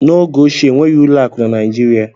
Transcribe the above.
N'oge ochie enweghị ụlọ akụ na Naijirịa.